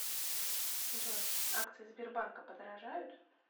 джой акции сбербанка подорожают